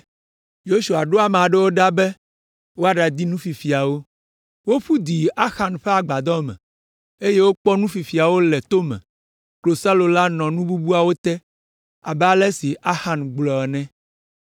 Yosua ɖo ame aɖewo ɖa be woaɖadi nu fifiawo. Woƒu du yi Axan ƒe agbadɔ me, eye wokpɔ nu fifiawo le to me, klosalo la nɔ nu bubuawo te abe ale si Axan gblɔ ene.